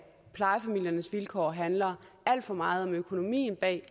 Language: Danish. plejefamiliernes vilkår handler alt for meget om økonomien bag